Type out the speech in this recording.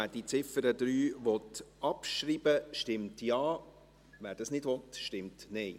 Wer die Ziffer 3 abschreiben will, stimmt Ja, wer dies nicht will, stimmt Nein.